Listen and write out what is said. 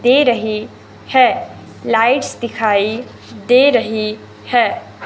दे रहे हैं लाइट्स दिखाई दे रही है।